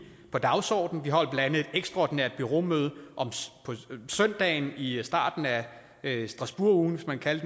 på dagsordenen vi holder blandt andet et ekstraordinært bureaumøde om søndagen i i starten af strasbourg ugen hvis man kan